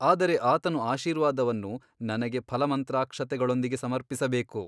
ಆದರೆ ಆತನು ಆಶೀರ್ವಾದವನ್ನು ನನಗೆ ಫಲಮಂತ್ರಾಕ್ಷತೆಗಳೊಡನೆ ಸಮರ್ಪಿಸಬೇಕು.